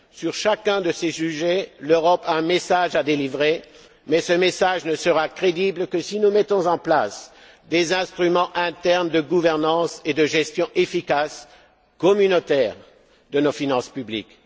Sur chacun de ces sujets, l'Europe a un message à délivrer, mais ce message ne sera crédible que si nous mettons en place des instruments internes de gouvernance et de gestion efficaces, communautaires de nos finances publiques.